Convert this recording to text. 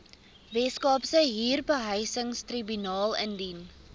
weskaapse huurbehuisingstribunaal indien